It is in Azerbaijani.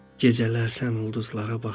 Gecələr sən ulduzlara baxırsan.